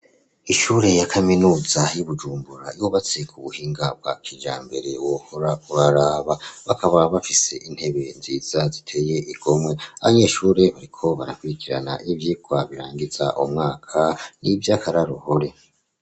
Ishure ya kaminuza y'i Bujumbura yubatse ku buhinga bwa kijambere wohora uraraba, bakaba bafise intebe nziza ziteye igomwe, abanyeshure bariko barakurikirana ivyigwa birangiza umwaka n'ivyakararuhore.